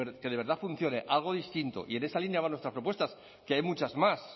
que de verdad funcione algo distinto y en esa línea van nuestras propuesta que hay muchas más